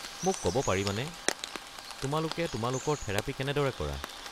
মোক ক'ব পাৰিবানে তোমালোকে তোমালোকৰ থেৰাপী কেনেদৰে কৰা?